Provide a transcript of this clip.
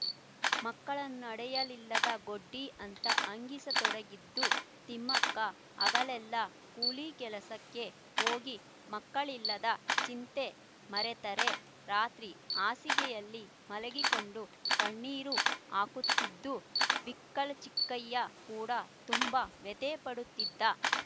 ಮಕ್ಕಳ್ನ ಹಡೆಯಲಿಲ್ಲದ ಗೊಡ್ಡಿ ಅಂತ ಹಂಗಿಸತೊಡಗಿದ್ದು ತಿಮ್ಮಕ್ಕ ಹಗಲೆಲ್ಲಾ ಕೂಲಿ ಕೆಲಸಕ್ಕೆ ಹೋಗಿ ಮಕ್ಕಳಿಲ್ಲದ ಚಿಂತೆಮರೆತರೆ ರಾತ್ರಿ ಹಾಸಿಗೆಯಲ್ಲಿ ಮಲಗಿಕೊಂಡು ಕಣ್ಣೀರು ಹಾಕುತ್ತಿದ್ದು ಬಿಕ್ಕಲುಚಿಕ್ಕಯ್ಯ ಕೂಡ ತುಂಬಾ ವ್ಯಥೆಪಡುತ್ತಿದ್ದ